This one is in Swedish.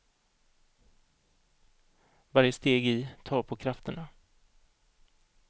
Varje steg i tar på krafterna.